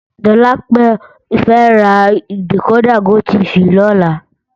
Dolapo fè rá dikódà gótìfí lòlá